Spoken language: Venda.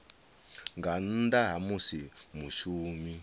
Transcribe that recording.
nga nnḓa ha musi mushumi